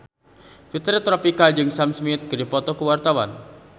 Fitri Tropika jeung Sam Smith keur dipoto ku wartawan